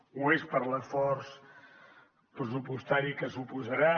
ho és per l’esforç pressupostari que suposarà